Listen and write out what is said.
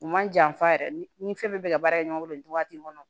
U man janfa yɛrɛ ni fɛn bɛɛ bɛ ka baara kɛ ɲɔgɔn bolo nin waati in kɔnɔ